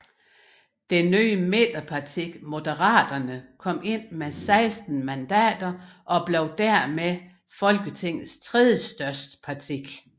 Det nye midterparti Moderaterne kom ind med 16 mandater og blev dermed Folketingets tredjestørste parti